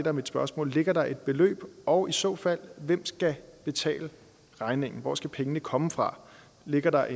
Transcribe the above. er mit spørgsmål ligger der et beløb og i så fald hvem skal betale regningen hvor skal pengene komme fra ligger der